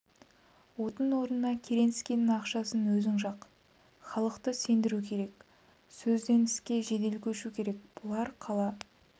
отын орнына керенскийдің ақшасын өзің жақ халықты сендіру керек сөзден іске жедел көшу керек бұлар қала